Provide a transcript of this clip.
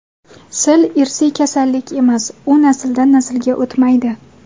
Sil irsiy kasallik emas, u nasldan naslga o‘tmaydi.